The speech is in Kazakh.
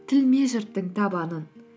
тілме жұрттың табанын